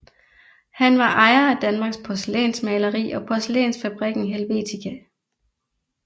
Han var ejer af Danmarks Porcelænsmaleri og Porcelænsfabrikken Helvetia